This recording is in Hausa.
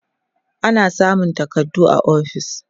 ana samun takardu a ofis